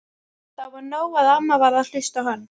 Það var nóg að amma varð að hlusta á hann.